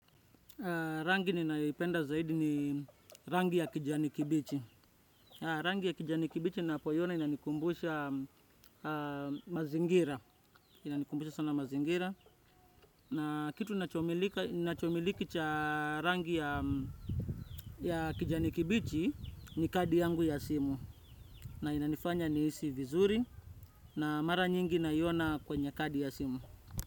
Rangi ninayoipenda zaidi ni rangi ya kijani kibichi. Rangi ya kijani kibichi napoiona inanikumbusha mazingira. Inanikumbusha sana mazingira. Na kitu inachomiliki cha rangi ya kijani kibichi ni kadi yangu ya simu. Na inanifanya nihisi vizuri na mara nyingi naiona kwenye kadi ya simu.